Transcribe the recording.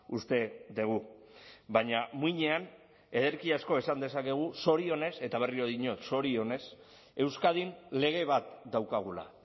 uste dugu baina muinean ederki asko esan dezakegu zorionez eta berriro diot zorionez euskadin lege bat daukagula